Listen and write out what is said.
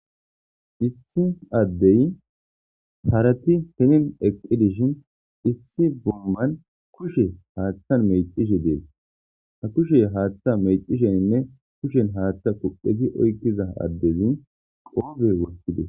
Issi addey harati tenin eqi dishin issi bomman kushe haaththa mexishe dees ha kushe haaththa mexisheninne kushen haaththa kuqeti oykkiza addezi qoofe wokkides.